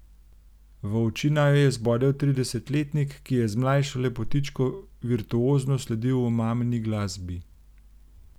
V oči naju je zbodel tridesetletnik, ki je z mlajšo lepotičko virtuozno sledil omamni glasbi.